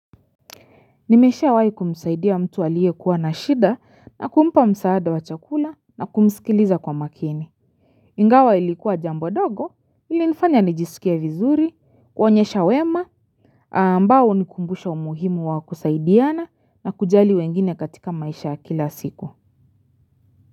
Nimeshawai kumsaidia mtu aliyekuwa na shida na kumpa msaada wa chakula na kumsikiliza kwa makini Ingawa ilikuwa jambo dogo ilinifanya nijisikie vizuri kuonyesha wema ambao hunikumbusha umuhimu wa kusaidiana na kujali wengine katika maisha ya kila siku.